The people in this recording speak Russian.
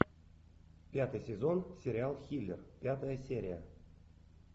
пятый сезон сериал хилер пятая серия